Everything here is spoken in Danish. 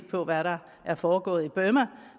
på hvad der er foregået i burma